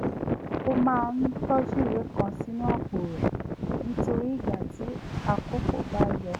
ó máa ń tójú ìwé kan sínú àpò rẹ̀ nítorí ìgbà tí àkókó bá yọ